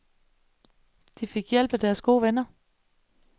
De fik hjælp af deres gode venner.